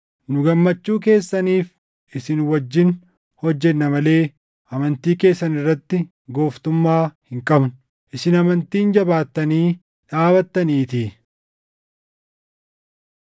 Nu gammachuu keessaniif isin wajjin hojjenna malee amantii keessan irratti gooftummaa hin qabnu; isin amantiin jabaattanii dhaabattaniitii.